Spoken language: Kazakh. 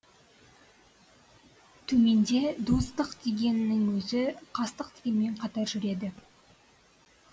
төменде достық дегеннің өзі қастық дегенмен қатар жүреді